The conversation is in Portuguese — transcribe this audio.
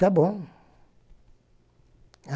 Tá bom.